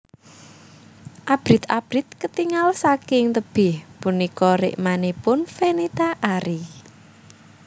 Abrit abrit ketingal saking tebih punika rikmanipun Fenita Arie